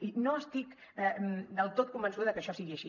i no estic del tot convençuda de que això sigui així